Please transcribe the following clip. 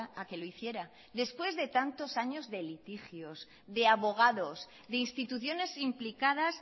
a que lo hiciera después de tantos años de litigios de abogados de instituciones implicadas